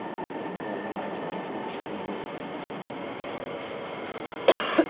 এবং magic টি খুবই সুন্দর